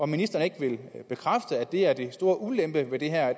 ministeren ikke bekræfte at det er den store ulempe ved det her